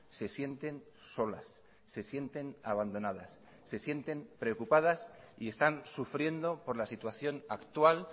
se sienten solas se sienten abandonadas se sienten preocupadas y están sufriendo por la situación actual